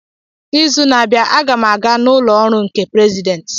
N'izu na-abịa, a ga m aga n'ụlọ ọrụ nke President.